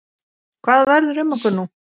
Hvað verður um okkur nú?